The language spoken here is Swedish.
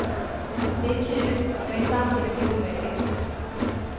Det är kul, men är samtidigt omöjligt.